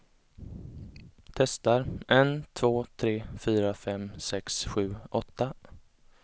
Testar en två tre fyra fem sex sju åtta.